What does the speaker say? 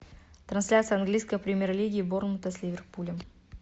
трансляция английской премьер лиги борнмута с ливерпулем